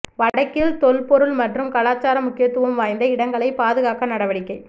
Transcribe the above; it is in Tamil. வடக்கில் தொல்பொருள் மற்றும் கலாசார முக்கியத்துவம் வாய்ந்த இடங்களைப் பாதுகாக்க நடவடிக்கை